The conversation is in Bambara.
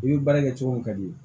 I ye baara kɛ cogo min ka di ye